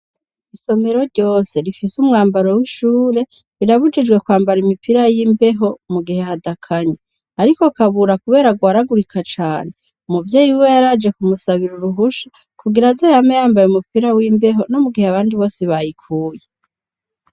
Isomero ryose rifise umwambaro w'ishure birabujijwe kwambara umupira w'imbeho mu gihe hadakanye, ariko Kabura kubera agwaragurika cane umuvyeyi wiwe yaraje kumusabira uruhusha kugira aze yame yambaye umupira w'imbeho no mu gihe abandi bose bayikuye.